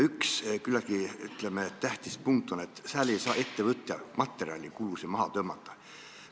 Üks küllaltki tähtis punkt on see, et ettevõtja ei saa seal materjalikulusid maha tõmmata.